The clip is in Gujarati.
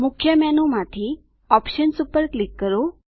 મુખ્ય મેનુ માંથી ઓપ્શન્સ પર ક્લિક કરો